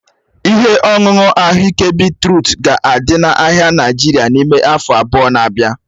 Ihe ọṅụṅụ ahụike beetrut ga-adị n'ahịa Naịjirịa n'ime afọ abụọ na-abịa.